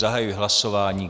Zahajuji hlasování.